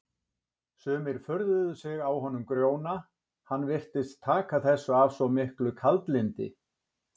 Sumir furðuðu sig á honum Grjóna, hann virtist taka þessu af svo miklu kaldlyndi.